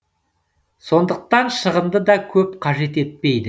сондықтан шығынды да көп қажет етпейді